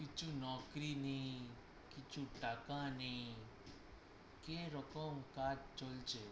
কিছু নেই, কিছু টাকা নেই কী রকম কাজ চলছে?